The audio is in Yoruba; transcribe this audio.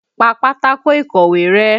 Pa pátákó ìkọ̀wé rẹ́!